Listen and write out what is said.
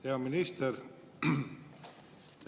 Hea minister!